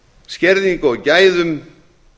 skerðingu á gæðum